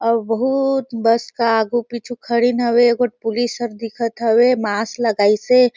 अउर बहुत बस का अगू-पीछु खडीन हवे एगो पुलिस हर दिखत हवे मास्क लगाईसे।